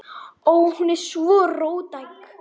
Ó. Hún er sko róttæk.